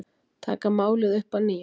Taka málið upp að nýju